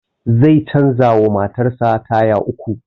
Zai canza wa matan sa taya uku